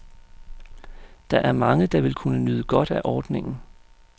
Der er mange, der vil kunne nyde godt af ordningen.